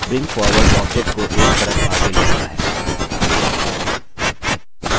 bring forward object को एक परत आगे layer आता है